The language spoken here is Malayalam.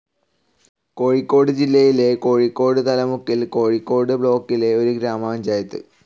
കോഴിക്കോട് ജില്ലയിലെ കോഴിക്കോട് തലമുക്കിൽ കോഴിക്കോട് ബ്ലോക്കിലെ ഒരു ഗ്രാമപഞ്ചായത്.